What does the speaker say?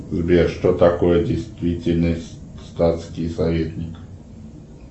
сбер что такое действительный статский советник